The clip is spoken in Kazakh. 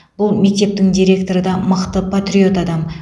бұл мектептің директоры да мықты патриот адам